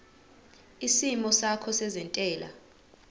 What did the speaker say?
isimo sakho sezentela